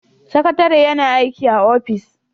Sakatare yana aiki a ofis